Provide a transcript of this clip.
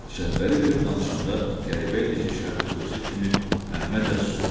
Şəhbəli belə danışanda qəribə idi ki, şərti dostu kimi Məmmə də susurdu.